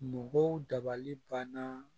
Mɔgɔw dabali banna